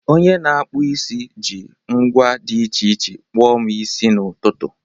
Onye ọkpụ isi ji ngwa dị iche iche kpụọ m isi n'ụtụtụ.